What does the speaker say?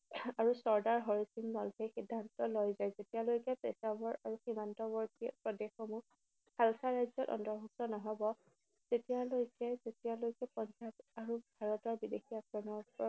আৰু ছৰ্দাৰ হৰি সিং নলৱাই সিদ্ধান্ত লয় যে যেতিয়ালৈকে পেছাৱাৰ আৰু সীমান্তৱৰ্তী প্ৰদেশসমূহ খালছা ৰাজ্যৰ অন্তৰ্ভুক্ত নহব, তেতিয়ালৈকে, যেতিয়ালৈকে পঞ্জাৱ আৰু ভাৰতৰ বিদেশী আক্ৰমণ